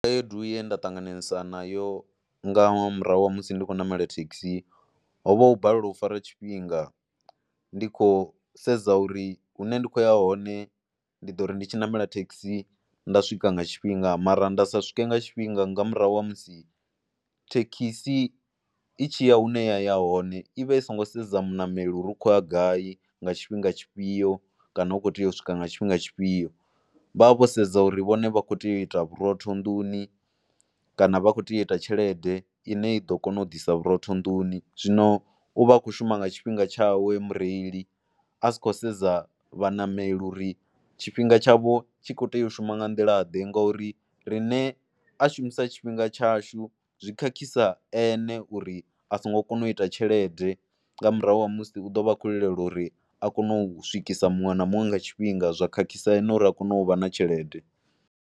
Khaedu ye nda ṱanganesa nayo nga murahu ha musi ndi khou ṋamela thekhisi ho vha u balelwa u fara tshifhinga, ndi khou sedza uri hune ndi khou ya hone ndi ḓo ri ndi tshi ṋamela thekhisi nda swika nga tshifhinga mara nda sa swike nga tshifhinga nga murahu ha musi thekhisi i tshi ya hune ya hone i vha i songo sedza muṋameli uri hu khou ya gai, nga tshifhinga tshifhio kana u khou tea u swika nga tshifhinga tshifhio. Vha vha vho sedza uri vhone vha kho tea u ita vhurotho nnḓuni kana vha khou tea u ita tshelede ine i ḓo kona u ḓisa vhurotho nnḓuni zwino u vha a khou shuma nga tshifhinga tshawe mureili, a si khou sedza vhaṋameli uri tshifhinga tshavho tshi khou tea u shuma nga nḓilaḓe ngauri riṋe a shumisa tshifhinga tshashu zwi khakhisa ene uri a songo kona u ita tshelede nga murahu ha musi u ḓo vha a khou lilela uri a kone u swikisa muṅwe na muṅwe nga tshifhinga zwa khakhisa ene uri a kone u vha na tshelede.